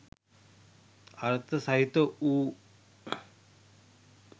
අර්ථ සහිත වූ